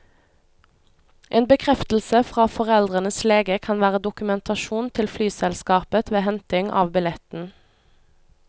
En bekreftelse fra foreldrenes lege kan være dokumentasjon til flyselskapet ved henting av billetten.